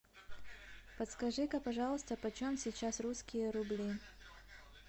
подскажи ка пожалуйста почем сейчас русские рубли